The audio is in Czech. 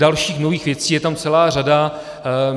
Dalších nových věcí je tam celá řada.